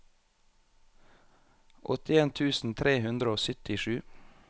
åttien tusen tre hundre og syttisju